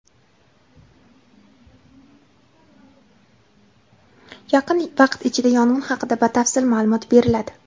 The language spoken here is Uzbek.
Yaqin vaqt ichida yong‘in haqida batafsil ma’lumot beriladi.